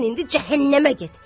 Sən indi cəhənnəmə get!